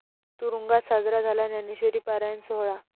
तुरूंगात साजरा झाला ज्ञानेश्वरी पारायण सोहळा